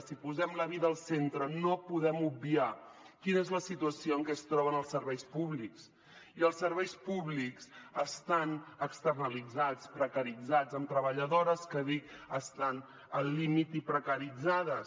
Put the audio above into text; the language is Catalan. si posem la vida al centre no podem obviar quina és la situació en què es troben els serveis públics i els serveis públics estan externalitzats precaritzats amb treballadores que dic estan al límit i precaritzades